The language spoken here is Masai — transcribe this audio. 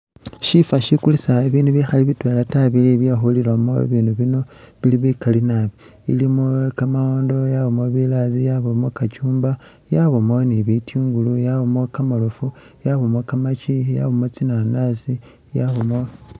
Shifa shikulisa bibindu bikhali bitwela ta bili byekhulilana bibindu bino bili bikali naabi, ilimo kamawondo yabamo bilazi yabamo kachumba yabamo ni bitungulu yabamo kamaroofu yabamo kamaki yabamo tsinanasi yabamo